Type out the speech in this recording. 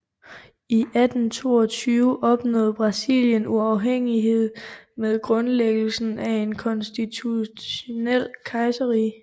I 1822 opnåede Brasilien uafhængighed med grundlæggelsen af et konstitutionelt kejserrige